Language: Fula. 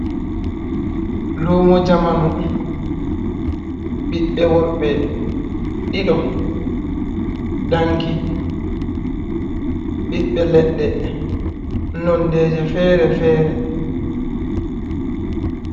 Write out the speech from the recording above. Lumo jamanu, ɓiɓɓe worɓe ɗiɗo, danki, ɓiɓɓe leɗɗe nonde ji fere-fere.